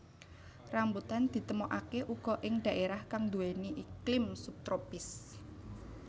Rambutan ditemokaké uga ing dhaérah kang nduwèni iklim sub tropis